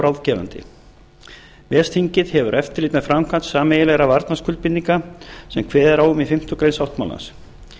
ráðgefandi ves þingið hefur eftirlit með framkvæmd sameiginlegra varnarskuldbindinga sem kveðið er á um í fimmtu grein sáttmálans